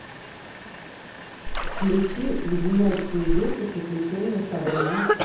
включи леденящие душу приключения сабрины